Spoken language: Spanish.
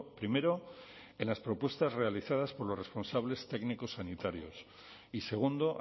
primero en las propuestas realizadas por los responsables técnicos sanitarios y segundo